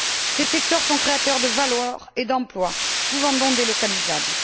Ces secteurs sont créateurs de valeurs et d'emplois, souvent non délocalisables.